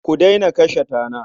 Ku daina kashe tana.